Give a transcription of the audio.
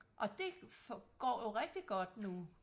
og det går jo rigtig godt nu